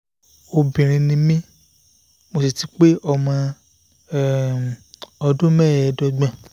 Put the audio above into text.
obìnrin ni mí mo sì ti pé ọmọ um ọdún mẹ́ẹ̀ẹ́dọ́gbọ̀n